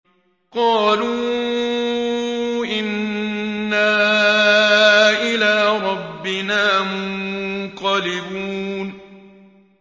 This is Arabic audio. قَالُوا إِنَّا إِلَىٰ رَبِّنَا مُنقَلِبُونَ